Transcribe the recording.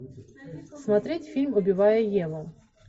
смотреть фильм убивая еву